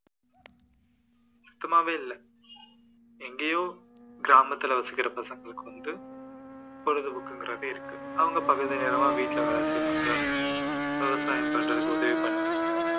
சுத்தமாவே இல்லை எங்கேயோ கிராமத்தில வசிக்கிற பசங்களுக்கு வந்து பொழுது போக்குங்கிறது இருக்கு அவங்க பகுதிநேரமா வீட்டுல வேலை செய்வாங்க விவசாயம் பாக்கிறதுக்கு உதவி பண்ணுவாங்க